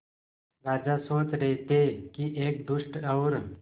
राजा सोच रहे थे कि एक दुष्ट और